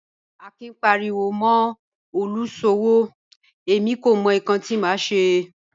Akin ń paríwọ́ mọ́ olúṣọ́wọ́, ẹ̀mí kò mọ̀ níkan tí mà ṣé